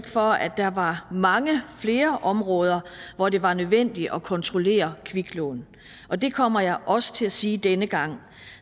for at der var mange flere områder hvor det var nødvendigt at kontrollere kviklån og det kommer jeg også til at sige denne gang